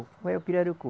é o pirarucu?